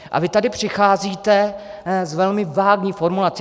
A vy tady přicházíte s velmi vágní formulací.